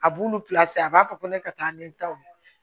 A b'olu a b'a fɔ ko ne ka taa ni n taw ye